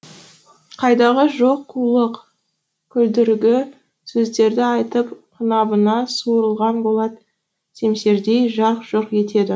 қайдағы жоқ қулық күлдіргі сөздерді айтып қынабынан суырылған болат семсердей жарқ жұрқ етеді